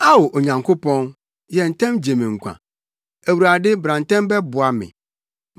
Ao, Onyankopɔn, yɛ ntɛm gye me nkwa; Awurade bra ntɛm bɛboa me.